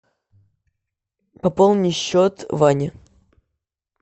пополни счет ване